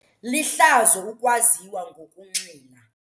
Lihlazo ukwaziwa ngokunxila.